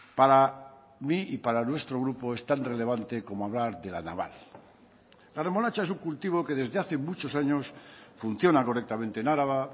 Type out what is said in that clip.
para mí y para nuestro grupo es tan relevante como hablar de la naval la remolacha es un cultivo que desde hace muchos años funciona correctamente en araba